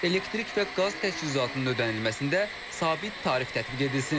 Elektrik və qaz təchizatının ödənilməsində sabit tarif tətbiq edilsin.